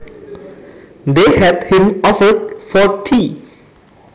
They had him over for tea